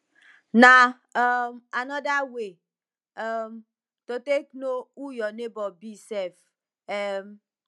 na um anoda way um to take no who yur neibor be sef um